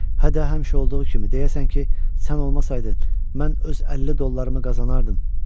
Hə də, həmişə olduğu kimi deyərsən ki, sən olmasaydın, mən öz 50 dollarımı qazanardım.